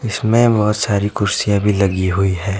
इसमें बहुत सारी कुर्सियां भी लगी हुई हैं।